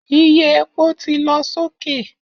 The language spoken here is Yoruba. Iye epo ti lọ soke